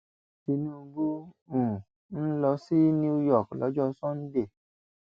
tinúbù um ń lọ sí new york lọjọ sànńdẹ